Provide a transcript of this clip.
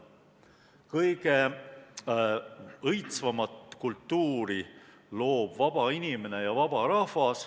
Kõige õitsvamat kultuuri loob vaba inimene ja vaba rahvas.